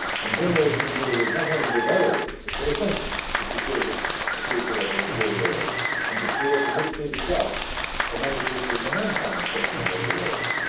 so. Generation renewal is not only desirable but essential to secure the future of our rural areas and to create the much needed jobs for many people in the non farming sectors in our rural areas.